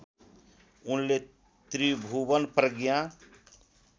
उनले त्रिभुवन प्रज्ञा